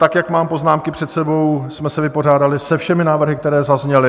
Tak jak mám poznámky před sebou, jsme se vypořádali se všemi návrhy, které zazněly.